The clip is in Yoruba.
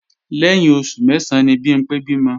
Lẹ́yìn oṣù mẹ́sán ni Bimpé bímọ